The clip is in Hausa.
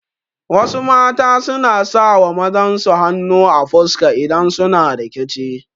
Wasu mata suna sawa mazan su hanu a fuska idan suna rikici